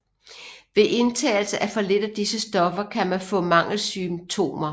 Ved indtagelse af for lidt af disse stoffer kan man få mangelsymptomer